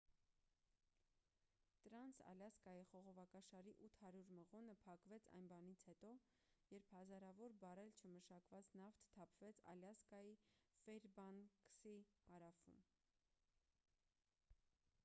տրանս ալյասկայի խողովակաշարի 800 մղոնը փակվեց այն բանից հետո երբ հազարավոր բարել չմշակված նավթ թափվեց ալյասկայի ֆեյրբանկսի հարավում